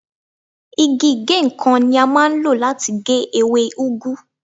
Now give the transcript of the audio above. Igi ìgéǹkan ni a máa ń lò láti gé ewé úgú.